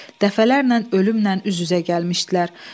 Dəfələrlə ölümlə üz-üzə gəlmişdilər.